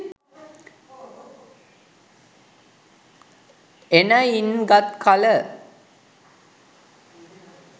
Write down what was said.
එනයින් ගත්කල